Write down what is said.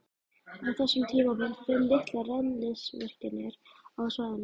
Á þessum tíma voru fimm litlar rennslisvirkjanir á svæðinu.